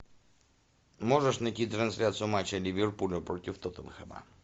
можешь найти трансляцию матча ливерпуля против тоттенхэма